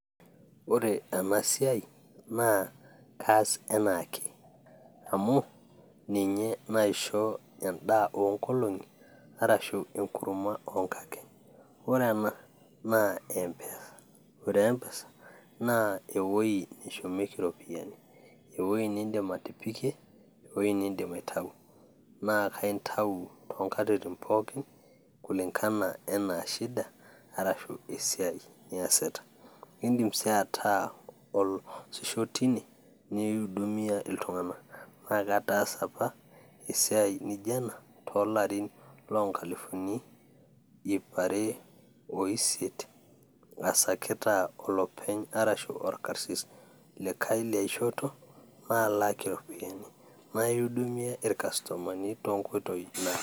ore ena siai naa kaas enaake amu ninye naisho edaa ongolong'i arashu engurma too nkakeny ore ena naa empesa ,ore empesa naa eweji neshumieki iropiyiani, eweji nidim atipikie nidim aitau ,naa intau too nkatintin pooki kulingana anaa shida arashu esiai niasita, idim sii ataa oloosisho tine nihudumia iltung'anak naakatasa apa esiai naijo ena toolarin ora ingalifuni ipare oisiet askita olopeny arashu orkasis naalaki aitobiraki.